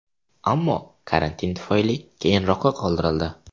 Ammo karantin tufayli keyinroqqa qoldirildi.